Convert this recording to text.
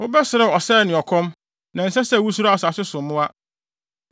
Wobɛserew ɔsɛe ne ɔkɔm; na ɛnsɛ sɛ wusuro asase so mmoa.